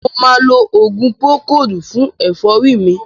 Mo ma lo òògùn púrókòòdù fún ẹ̀fọ́ rí mi.